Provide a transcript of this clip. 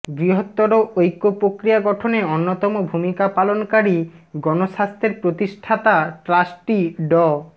বৃহত্তর ঐক্য প্রক্রিয়া গঠনে অন্যতম ভূমিকা পালনকারী গণস্বাস্থ্যের প্রতিষ্ঠাতা ট্রাস্টি ড